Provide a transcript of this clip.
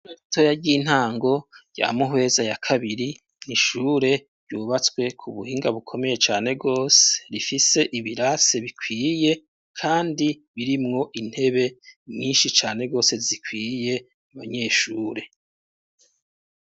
Atoya ry'intango ya muhweza ya kabiri nishure ryubatswe ku buhinga bukomeye cane rwose rifise ibirase bikwiye, kandi birimwo intebe mwinshi cane rose zikwiye abanyeshure.